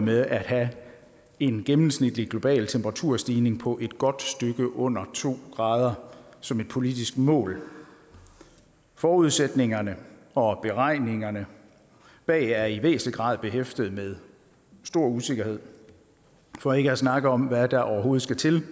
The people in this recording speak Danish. med at have en gennemsnitlig global temperaturstigning på et godt stykke under to grader som et politisk mål forudsætningerne for beregningerne bag er i væsentlig grad behæftet med stor usikkerhed for ikke at snakke om hvad der overhovedet skal til